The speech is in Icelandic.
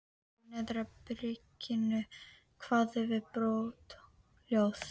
Úr neðra byrginu kváðu við brothljóð.